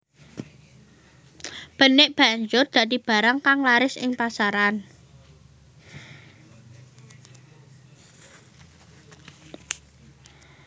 Benik banjur dadi barang kang laris ing pasaran